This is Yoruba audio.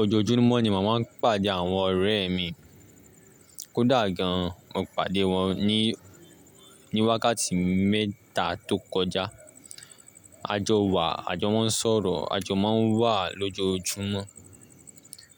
Ojoojúmọ́ ni mo màá ń pàdé àwọn ọ̀rẹ́ mi. Kódà gan an, mo pàdé wọn ní, ní wákàtí mẹ́ta tó kọjá. Àjọ wa, àjọ maa ń sọ̀rọ̀, àjọ máa ń wà lójoojúmọ́.